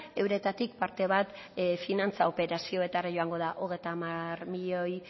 euretatik parte bat finantza operazioetara joango da hogeita hamar milioi